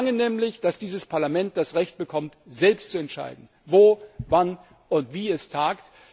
Wir verlangen nämlich, dass dieses Parlament das Recht bekommt, selbst zu entscheiden, wo, wann und wie es tagt.